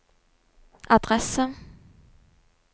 adresse